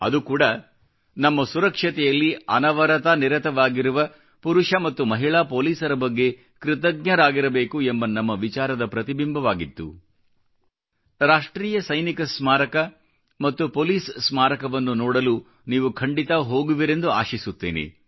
ಅದು ಕೂಡಾ ನಮ್ಮ ಸುರಕ್ಷತೆಯಲ್ಲಿ ಅನವರತ ನಿರತವಾಗಿರುವ ಪುರುಷ ಮತ್ತು ಮಹಿಳಾ ಪೋಲಿಸರ ಬಗ್ಗೆ ಕೃತಜ್ಞರಾಗಿರಬೇಕು ಎಂಬ ನಮ್ಮ ವಿಚಾರದ ಪ್ರತಿಬಿಂಬವಾಗಿತ್ತು ರಾಷ್ಟ್ರೀಯ ಸೈನಿಕ ಸ್ಮಾರಕ ಮತ್ತು ಪೋಲಿಸ್ ಸ್ಮಾರಕವನ್ನು ನೋಡಲು ನೀವು ಖಂಡಿತಾ ಹೋಗುವಿರೆಂದು ಆಶಿಸುತ್ತೇನೆ